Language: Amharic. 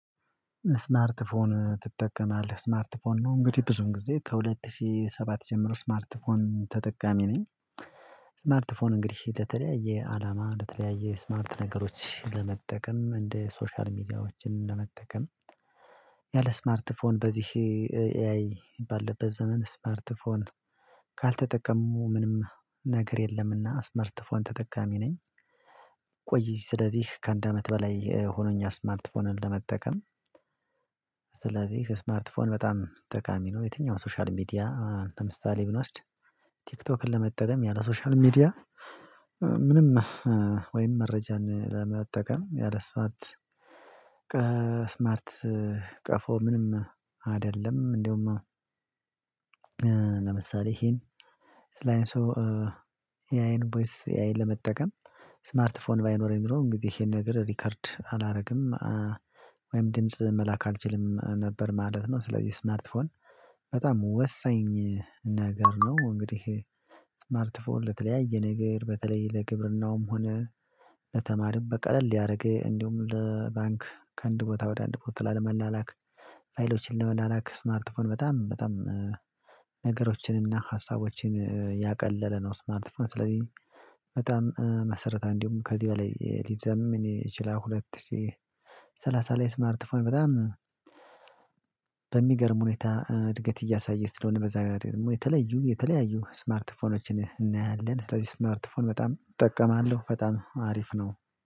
ስማርት ፎን ትጠቀማለህ ስማርት ፎን ነው እንግዲህ ብዙም ጊዜ ከሁለት ሺህ ሰባት ጀምሮ ስማርት ፎን ተጠቃሚ ነኝ። ስማርት ፎን እንግዲህ ለተለያየ አላማ ለተለያየ ስማርት ነገሮች ለመጠቀም እንደ ሶሻል ሚዲያዎችን ለመጠቀም። ያለ ስማርት ፎን በዚህ ኤአይ ባለበት ዘመን ስማርት ፎን ካልተጠቀሙ ምንም ነገር የለምና ስማርት ፎን ተጠቃሚ ነኝ። ቆይ ስለዚህ ከአንድ አመት በላይ ሆኖኛል ስማርትፎንን ለመጠቀም። ስማርት ፎን በጣም ጠቃሚ ነው። የትኛውም ሶሻል ሚዲያ ለምሳሌ ብንወስድ። ቲክቶክን ለመጠቀም ያለ ሶሻል ሚዲያ። ምንም ወይም መረጃን ለመጠቀም ያለ ስማርት ስማርት ቀፎ ምንም አይደለም። እንደውም። ለምሳሌ ይሄን ስላይን ሶ ኤአይን ቦይስ ኤአይን ለመጠቀም። ስማርት ፎን ባይኖረኝ ኖሮ እንግዲህ ይሄን ነገር ሪከርድ አላደርግም ወይም ድምጽ መላክ አልችልም ነበር ማለት ነው። ስለዚህ ስማርት ፎን በጣም ወሳኝ ነገር ነው። እንግዲህ ስማርት ፎን ለተለያየ ነገር በተለይ ለግብርናውም ሆነ ለተማሪም በቀለል ያደረገ እንዲሁም ለባንክ ከአንድ ቦታ ወደ አንድ ቦታ ላለመላላክ ፋይሎችን ለመላላክ ስማርትፎን በጣም በጣም ነገሮችንና ሀሳቦችን ያቀለለ ነው። ስማርት ፎን ስለዚህ በጣም መሰረታ እንዲሁም ከዚህ በላይ ሊዘምን ይችላል። ሁለት ሺህ ሰላሳ ላይ ስማርት ፎን በጣም በሚገርም ሁኔታ እድገት እያሳየች ስለሆነ በዛ ረገድ ደግሞ የተለዩ የተለያዩ ስማርቲፎኖችን እናያለን ስለዚህ ስማርትፎን በጣም እጠቀማለሁ በጣም አሪፍ ነው።